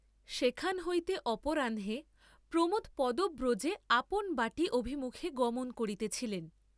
সেখান হইতে অপরাহ্নে প্রমোদ পদব্রজে আপন বাটী অভিমুখে গমন করিতেছিলেন।